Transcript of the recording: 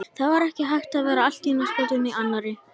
Það var ekki hægt að verða allt í einu skotinn í annarri.